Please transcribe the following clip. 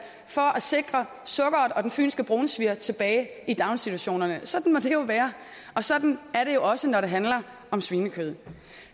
for at sikre sukkeret og den fynske brunsviger tilbage i daginstitutionerne sådan må det jo være og sådan er det jo også når det handler om svinekød